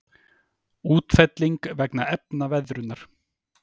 Útfelling vegna efnaveðrunar.